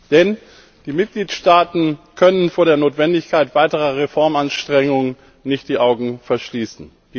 Denn die Mitgliedstaaten können vor der Notwendigkeit weiterer Reformanstrengungen nicht die Augen verschließen.